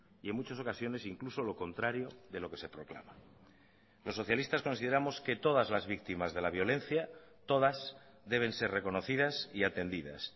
y en muchas ocasiones incluso lo contrario de lo que se proclama los socialistas consideramos que todas las víctimas de la violencia todas deben ser reconocidas y atendidas